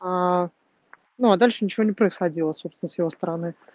а ну а дальше ничего не происходило собствено с его стороны